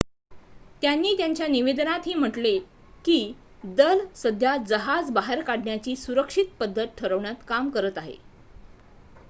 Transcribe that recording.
"त्यांनी त्यांच्या निवेदनातही म्हटले की "दल सध्या जहाज बाहेर काढण्याची सुरक्षित पद्धत ठरवण्यावर काम करत आहे"".